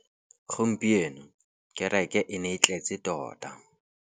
Gompieno kêrêkê e ne e tletse tota.